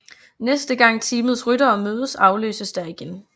Næste gang teamets ryttere mødes afløses der igen